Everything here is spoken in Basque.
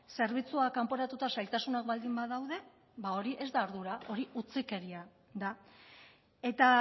zerbitzua kanporatuta zailtasunak baldin badaude ba hori ez da ardura hori utzikeria da eta